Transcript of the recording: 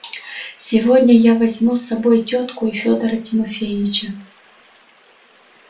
сегодня я возьму с собой тётку и федора тимофеича